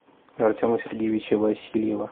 артема сергеевича васильева